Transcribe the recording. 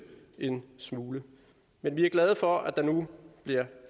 en smule men vi er glade for at der nu bliver